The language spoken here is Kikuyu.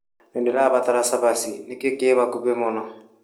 Nĩndĩrabatara cabac,i nĩkĩĩ kĩ hakuhĩ mũno ?